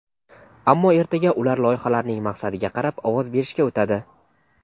Ammo ertaga ular loyihalarning maqsadiga qarab ovoz berishga o‘tadi.